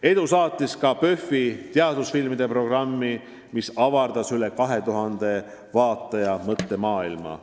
Edu saatis ka PÖFF-i teadusfilmide programmi, mis avardas rohkem kui 2000 vaataja mõttemaailma.